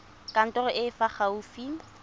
kantorong e e fa gaufi